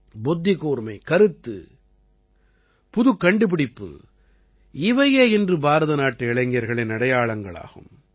புத்திக்கூர்மை கருத்து புதுமைக்கண்டுபிடிப்பு இவையே இன்று பாரதநாட்டு இளைஞர்களின் அடையாளம் ஆகும்